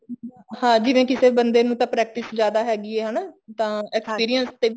ਹਾਂ ਜਿਵੇਂ ਕਿਸੇ ਬੰਦੇ ਨੂੰ ਤਾਂ practice ਜਿਆਦਾ ਹੈਗੀ ਹੈ ਹਨਾ ਤਾਂ ਜਿਹੜੀਆਂ